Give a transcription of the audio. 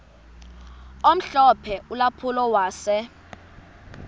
omhlophe ulampulo wase